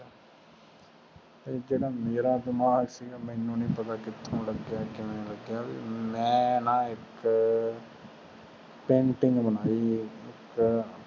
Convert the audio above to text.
ਫਿਰ ਜੀਰਾ ਮੇਰਾ ਦਿਮਾਗ ਸੀਗਾ ਮੈਨੂ ਨੀ ਪਤਾ ਕਿਥੋਂ ਲਗਿਆ ਕਿਵੇਂ ਲੱਗਿਆ ਮੈਂ ਨਾ ਫੇਰ ਇਕ ਪੇਂਟਿੰਗ ਬਣਾਈ ਏ